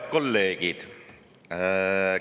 Head kolleegid!